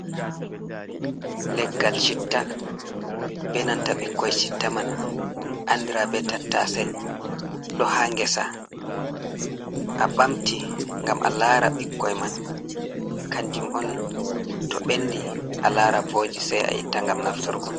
Leggal chitta, be nanta bikkoi shitta man andira be tattase, ɗo ha ngesa, a ɓamti ngam a lara ɓikkoi man kanjum on to ɓendi alara vooji sai a itta ngam nafturgo.